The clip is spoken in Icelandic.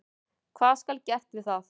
Hvað skal gert við það?